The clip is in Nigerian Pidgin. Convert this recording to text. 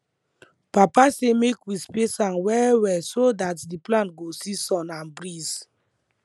papa say make we space am well well so dat d plant go see sun and breeze